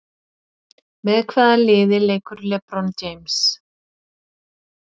Með hvaða liði leikur LeBron James?